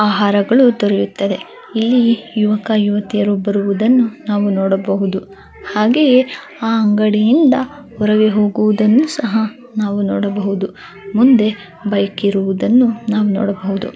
ಆಹಾರಗಳು ದೊರೆಯುತ್ತವೆ ಇಲ್ಲಿ ಯುವಕ ಯುವತಿಯರು ಬರುವುದನ್ನು ನಾವು ನೋಡಬಹುದು ಹಾಗೆಯೆ ಆ ಅಂಗಡಿಯಿಂದ ಹೊರಗೆ ಹೋಗುವುದನ್ನು ಸಹ ನಾವು ನೋಡಬಹುದು ಮುಂದೆ ಬೈಕ್ ಇರುವುದನ್ನು ನಾವು ನೋಡಬಹುದು .